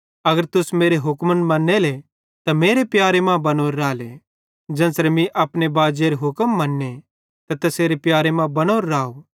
अगर तुस मेरे हुक्मन मन्नेले त मेरे प्यारे मां बनोरे राले ज़ेन्च़रे मीं अपने बाजेरे हुक्म मन्ने ते तैसेरे प्यारे मां बनोरो राव